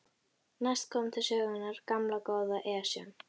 Næst kom til sögunnar gamla, góða Esjan.